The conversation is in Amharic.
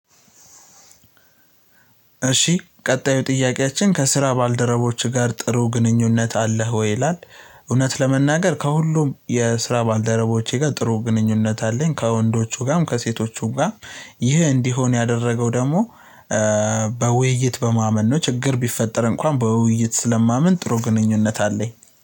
እሺ ቀጣዩ ጥያቄያችን "ከስራ ባልደረቦችህ ጋር ጥሩ ግንኙነት አለህ ወይ?" ይላል፣ እውነት ለመናገር ከሁሉም የስራ ባልደረቦቼ ጋር ጥሩ ግንኙነት አለኝ። ከወንዶቹ ጋም ከሴቶቹ ጋም ይህ እንዲሆን ያደረገው ደግሞ በውይይት በማመን ነው ችግር ቢፈጠር እንኳን በውይይት ስለማምን ጥሩ ግንኙነት አለኝ።